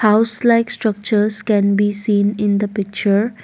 House like structures can be seen in the picture.